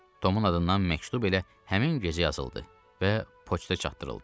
Tomun adından məktub elə həmin gecə yazıldı və poçta çatdırıldı.